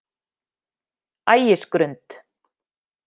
Ægisgrund